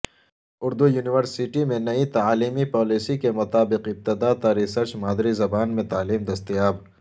Urdu university میں نئی تعلیمی پالیسی کے مطابق ابتداءتا ریسرچ مادری زبان میں تعلیم دستیاب